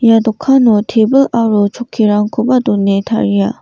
ia dokano tebil aro chokkirangkoba done taria.